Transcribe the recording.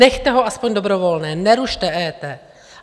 Nechte ho aspoň dobrovolné, nerušte EET.